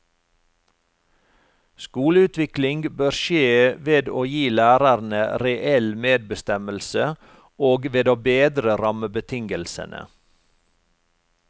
Skoleutvikling bør skje ved å gi lærerne reell medbestemmelse og ved å bedre rammebetingelsene.